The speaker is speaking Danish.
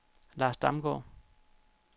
Lars Damgaard